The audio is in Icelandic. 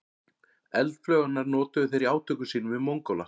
Eldflaugarnar notuðu þeir í átökum sínum við Mongóla.